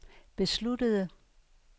besluttede